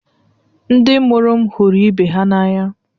Ndị mụrụ m hụrụ ibe ha n’anya